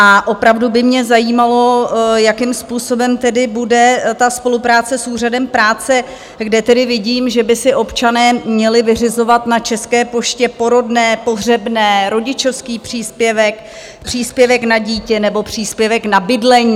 A opravdu by mě zajímalo, jakým způsobem tedy bude ta spolupráce s Úřadem práce, kde tedy vidím, že by si občané měli vyřizovat na České poště porodné, pohřebné, rodičovský příspěvek, příspěvek na dítě nebo příspěvek na bydlení.